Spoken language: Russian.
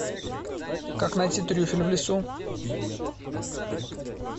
как найти трюфель в лесу